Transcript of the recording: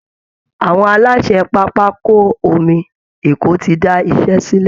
Àwọn aláṣẹ pápákọ omi Èkó ti da iṣẹ́ sílẹ̀